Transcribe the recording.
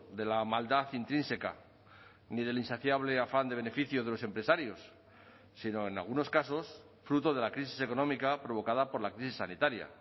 de la maldad intrínseca ni del insaciable afán de beneficios de los empresarios sino en algunos casos fruto de la crisis económica provocada por la crisis sanitaria